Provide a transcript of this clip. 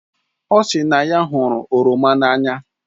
O si na ya hụrụ oroma n'anya